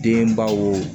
Denbaw